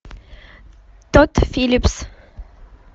тодд филлипс